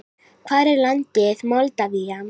Hvar er landið Moldavía?